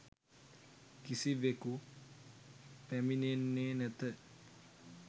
කිසිවෙකු පැමිණෙන්නේ නැත.